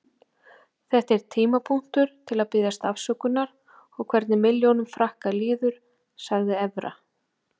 Þetta er tímapunktur til að biðjast afsökunar og hvernig milljónum Frakka líður, sagði Evra.